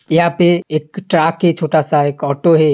यहाँं पे एक ट्रक है छोटा सा एक ऑटो है।